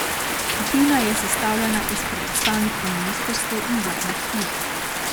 Skupina je sestavljena iz predstavnikov ministrstev in vladnih služb.